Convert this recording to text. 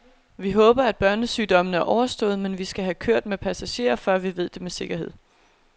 Vi håber, at børnesygdommene er overstået, men vi skal have kørt med passagerer, før vi ved det med sikkerhed.